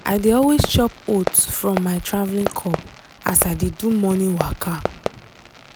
i dey always chop oat from my traveling cup as i dey do morning waka.